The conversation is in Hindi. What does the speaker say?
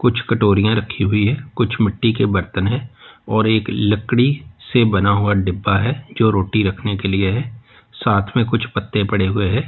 कुछ कटोरिया रखी हुई है कुछ मिट्टी के बर्तन हैं और एक लकड़ी बना हुआ डिब्बा है जो रोटी रखने के लिए है साथ में कुछ पत्ते पड़े हुए है।